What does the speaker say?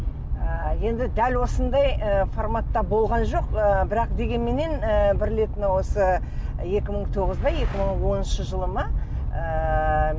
ы енді дәл осындай ы форматта болған жоқ ы бірақ дегенменен ы бір рет мынау осы екі мың тоғыз ба екі мың оныншы жылы ма ыыы